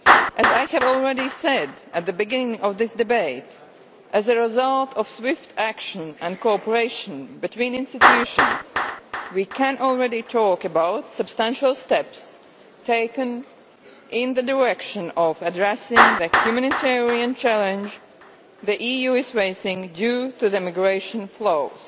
As I have already said, at the beginning of this debate, as a result of swift action and cooperation between institutions we can already talk about substantial steps taken in the direction of addressing the humanitarian challenge the EU is facing due to migration flows.